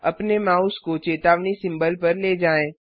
आपने माउस को चेतावनी सिंबल पर ले जाएँ